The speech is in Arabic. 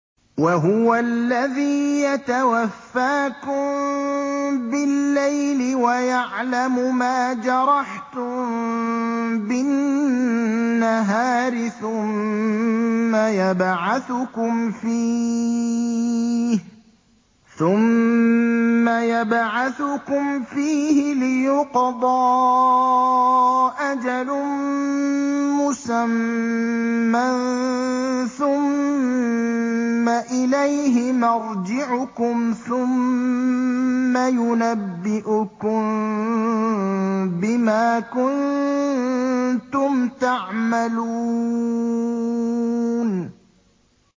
وَهُوَ الَّذِي يَتَوَفَّاكُم بِاللَّيْلِ وَيَعْلَمُ مَا جَرَحْتُم بِالنَّهَارِ ثُمَّ يَبْعَثُكُمْ فِيهِ لِيُقْضَىٰ أَجَلٌ مُّسَمًّى ۖ ثُمَّ إِلَيْهِ مَرْجِعُكُمْ ثُمَّ يُنَبِّئُكُم بِمَا كُنتُمْ تَعْمَلُونَ